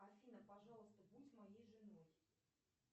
афина пожалуйста будь моей женой